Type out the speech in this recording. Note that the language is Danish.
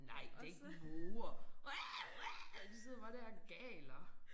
Nej da ikke måger de sidder bare der og galer